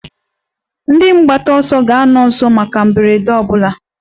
Ndị mgbataọsọ ga-anọ nso maka mberede ọ bụla.